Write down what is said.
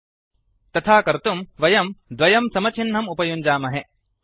तथा कर्तुं वयं त्वो इक्वल तो द्वयं समचिह्नम् उपयुञ्जामहे